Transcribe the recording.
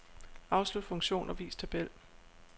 Afslut funktion og vis tabel.